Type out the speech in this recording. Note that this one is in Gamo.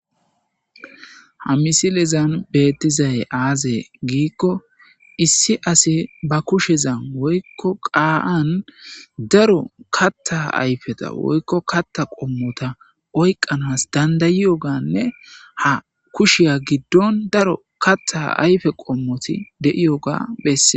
Ha misilezan beettizaye aaze giikko issi ase ba kushezan woykko qaa7an daro katta ayfeta woykko katta qommota oyqqanas dandayiyoganne ha kushiya giddon daro katta ayfe qommoti deiyoga bessee.